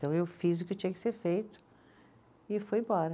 Então, eu fiz o que tinha que ser feito e fui embora.